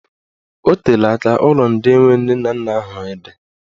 Ọ teela aka ụlọ ndị enwe nne na nna ahụ dị.